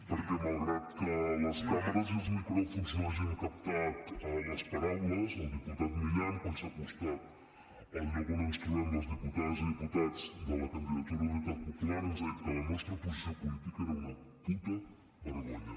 perquè malgrat que les càmeres i els micròfons no hagin captat les paraules el diputat milián quan s’ha acostat al lloc on ens trobem les diputades i diputats de la candidatura d’unitat popular ens ha dit que la nostra posició política era una puta vergonya